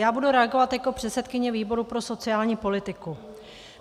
Já budu reagovat jako předsedkyně výboru pro sociální politiku.